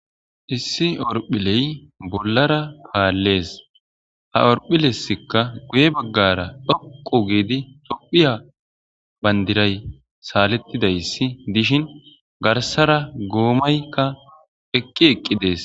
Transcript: issi orphiley bollara paallees ha orphilessikka guye baggara dhoqu giidi tophiya bandiray saalettidayssi dishin garsara goomaykka eqqi eqqi dees